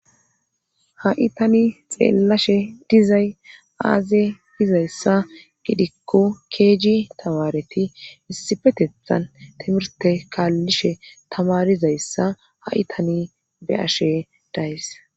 Ha'i tani xeellashe dizay aaze dizayssa gidikko keeji tamareti issifetethan timirte kaallishe tamarizayssa haitani be ashe days.